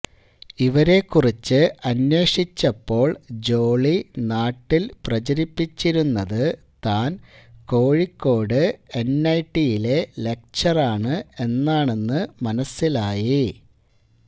ഇവരെക്കുറിച്ച് അന്വേഷിച്ചപ്പോള് ജോളി നാട്ടില് പ്രചരിപ്പിച്ചിരുന്നത് താന് കോഴിക്കോട് എന്ഐടിയിലെ ലക്ച്ചറാണ് എന്നാണെന്ന് മനസിലായി